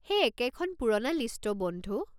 সেই একেখন পুৰণা লিষ্ট অ' বন্ধু।